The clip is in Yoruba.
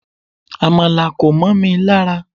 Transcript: Amala ko momi lara